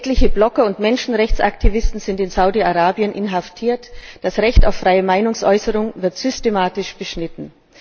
Etliche Blogger und Menschenrechtsaktivisten sind in Saudi Arabien inhaftiert, das Recht auf freie Meinungsäußerung wird systematisch beschnitten.